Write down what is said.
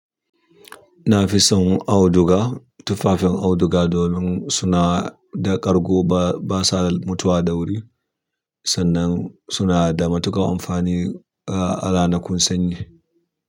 Na fi son auduga, tufafin auduga domin suna da ƙargo ba, ba sa mutuwa da wuri sannan suna da matuƙar amfani a ranakun sanyi.